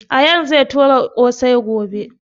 Ayaan zai toya ƙosai gobe